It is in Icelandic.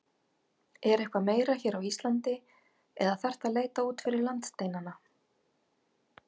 Er eitthvað meira hér á Íslandi eða þarftu að leita út fyrir landsteinana?